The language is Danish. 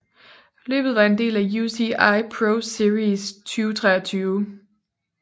Løbet var en del af UCI ProSeries 2023